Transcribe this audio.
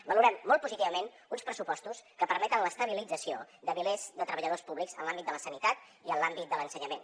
valorem molt positivament uns pressupostos que permeten l’estabilització de milers de treballadors públics en l’àmbit de la sanitat i en l’àmbit de l’ensenyament